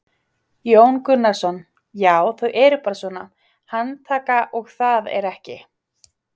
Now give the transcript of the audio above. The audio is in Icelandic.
Jón Gunnarsson: Já þau eru bara svona, handtaka og það er ekki?